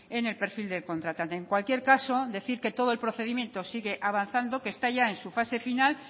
en el perfil del contratante en cualquier caso decir que todo el procedimiento sigue avanzando que está ya en su fase final